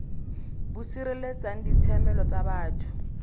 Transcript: bo sireletsang ditshiamelo tsa batho